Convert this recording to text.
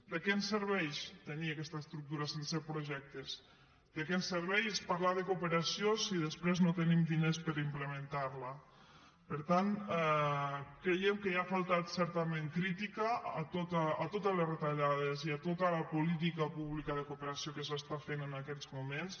de què em serveix tenir aquesta estructura sense projectes de què em serveix parlar de cooperació si després no tenim diners per implementar la per tant creiem que hi ha faltat certament crítica a totes les retallades i a tota la política pública de cooperació que es fa en aquests moments